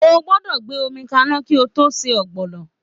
O gbọ́dọ̀ gbé omi kaná kí o tó se Ogbono